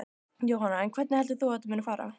Jóhanna: En hvernig heldur þú að þetta muni fara?